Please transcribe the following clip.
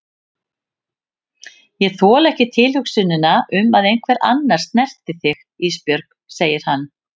Ég þoli ekki tilhugsunina um að einhver annar snerti þig Ísbjörg, segir hann.